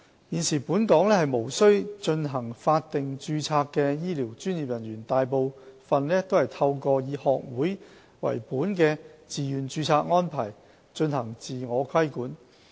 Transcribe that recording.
現時本港無須進行法定註冊的醫療專業人員，大部分是透過以學會為本的自願註冊安排進行自我規管。